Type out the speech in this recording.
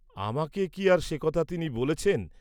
আমাকে কি আর সে কথা তিনি বলেছেন?